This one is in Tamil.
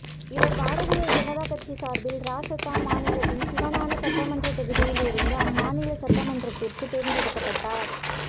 இவர் பாரதிய ஜனதா கட்சி சார்பில் இராசத்தான் மாநிலத்தின் சிவானா சட்டமன்றத் தொகுதியில் இருந்து அம்மாநில சட்டமன்றத்திற்கு தேர்ந்தெடுக்கப்பட்டார்